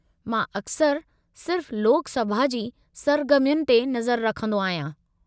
मां अक्सरि सिर्फ़ु लोक सभा जी सरगर्मियुनि ते नज़र रखंदो आहियां।